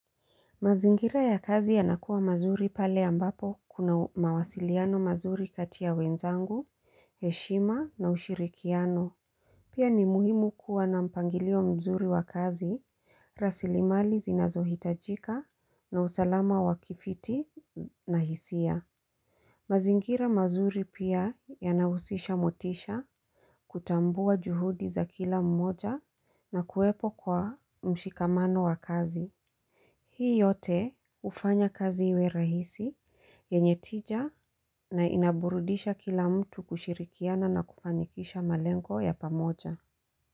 Mazingira ya kazi yanakuwa mazuri pale ambapo kuna mawasiliano mazuri kati ya wenzangu, heshima na ushirikiano. Pia ni muhimu kuwa na mpangilio mzuri wa kazi. Rasilimali zinazohitajika na usalama wa kifiti na hisia. Mazingira mazuri pia yanahusisha motisha. Kutambua juhudi za kila mmoja na kuwepo kwa mshikamano wa kazi. Hii yote ufanya kazi iwe rahisi yenye tija na inaburudisha kila mtu kushirikiana na kufanikisha malengo ya pamoja.